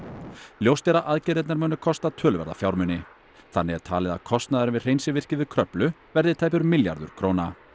ljóst er að aðgerðirnar munu kosta töluverða fjármuni þannig er talið að kostnaðurinn við hreinsivirkið við Kröflu verði tæpur milljarður króna